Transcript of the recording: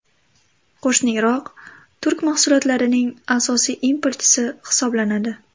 Qo‘shni Iroq turk mahsulotlarining asosiy importchisi hisoblanadi.